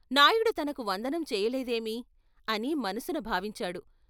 నాయుడు తనకు వందనం చేయలేదేమీ అని మనసున భావించాడు.